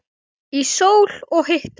Í sól og hita.